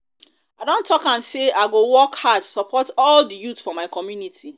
i don talk am um say i go work hard support all di youth for my community.